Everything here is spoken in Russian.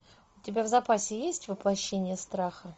у тебя в запасе есть воплощение страха